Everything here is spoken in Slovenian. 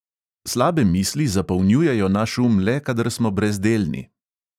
Slabe misli zapolnjujejo naš um le, kadar smo brezdelni.